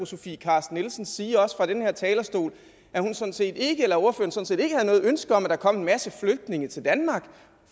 sofie carsten nielsen sige også fra den her talerstol at hun sådan set ikke havde noget ønske om at der kom en masse flygtninge til danmark